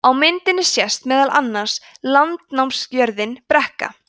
á myndinni sést meðal annars landnámsjörðin brekka